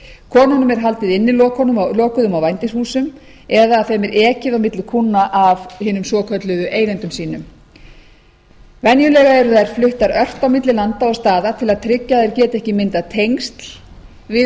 konunum er haldið innilokuðum á vændishúsum eða þeim er ekið milli kúnna af hinum svokölluðu eigendum sínum venjulega eru þær fluttar ört á milli landa og staða til að tryggja að þær geti ekki myndað tengsl við vændiskúnna